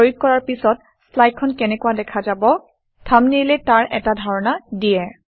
প্ৰয়োগ কৰাৰ পিছত শ্লাইডখন কেনেকুৱা দেখা যাব থাম্বনেইলে তাৰ এটা ধাৰণা দিয়ে